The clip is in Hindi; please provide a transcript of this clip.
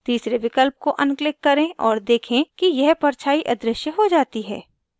तीसरे विकल्प को अनक्लिक करें और देखें कि यह परछाई अदृश्य हो जाती है